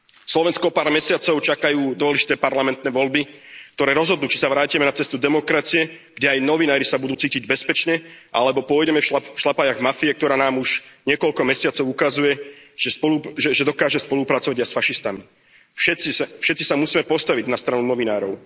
Slovensko o pár mesiacov čakajú dôležité parlamentné voľby, ktoré rozhodnú, či sa vrátime na cestu demokracie, kde aj novinári sa budú cítiť bezpečne, alebo pôjdeme v šľapajách mafie, ktorá nám už niekoľko mesiacov ukazuje, že dokáže spolupracovať aj s fašistami. Všetci sa musíme postaviť na stranu novinárov.